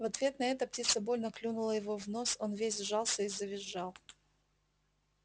в ответ на это птица больно клюнула его в нос он весь сжался и завизжал